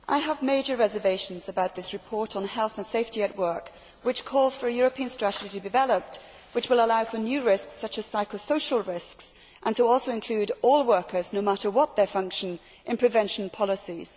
Madam President, I have major reservations about this report on health and safety at work, which calls for a European strategy to be developed which will allow for new risks, such as psycho social risks, and also to include all workers, no matter what their function, in prevention policies.